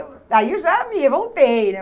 Aí eu já me revoltei né.